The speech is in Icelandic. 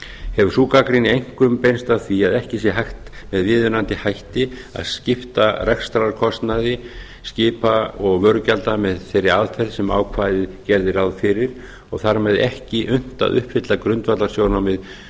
hefur sú gagnrýni einkum beinst að því að ekki sé hægt með viðunandi hætti að skipta rekstrarkostnaði skipa og vörugjalda með þeirri aðferð sem ákvæðið gerði ráð fyrir og þar með ekki unnt að uppfylla grundvallarsjónarmið